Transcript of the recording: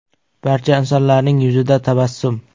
Barcha insonlarning yuzida tabassum.